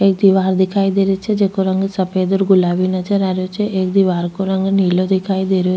एक दिवार दिखाई दे री छे जेको रंग सफ़ेद और गुलाबी नजर आ रेहो छे एक दिवार को रंग नीलो दिखाई दे रो।